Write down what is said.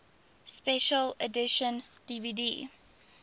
special edition dvd